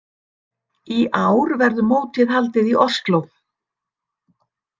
Í ár verður mótið haldið í Osló.